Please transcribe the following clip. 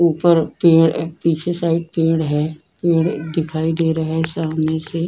ऊपर पेड़ पीछे साइड पेड़ है । पेड़ दिखाई दे रहे हैं सामने से।